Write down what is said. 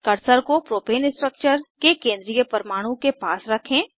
cursor को propane structure के केंद्रीय परमाणु के पास रखें